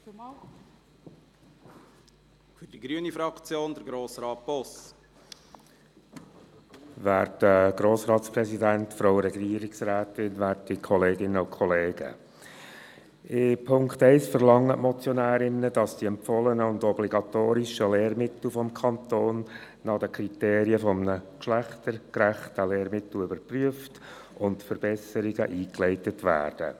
Mit dem Punkt 1 verlangen die Motionärinnen, dass die empfohlenen und obligatorischen Lehrmittel des Kantons nach den Kriterien eines geschlechtergerechten Lehrmittels überprüft und Verbesserungen eingeleitet werden.